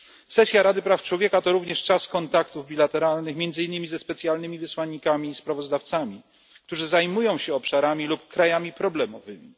Sesja Rady Praw Człowieka to również czas kontaktów dwustronnych, między innymi ze specjalnymi wysłannikami i sprawozdawcami, którzy zajmują się obszarami lub krajami problemowymi.